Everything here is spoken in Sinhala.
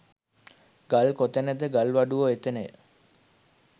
ගල් කොතැනද ගල්වඩුවෝ එතැනය